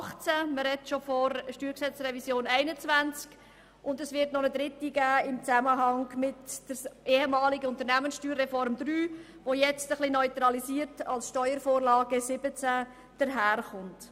Man spricht schon von der StG-Revision 2021, und es wird noch eine Dritte geben im Zusammenhang mit der USR III, die jetzt etwas neutralisiert als Steuervorlage 2017 daherkommt.